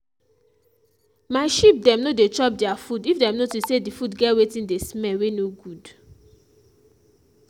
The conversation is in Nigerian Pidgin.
my sheep dem no dey chop their food if dem notice say d food get wetin dey smell wey no good.